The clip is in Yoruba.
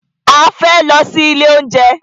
A fẹ́ lọ sí ilé oúnjẹ.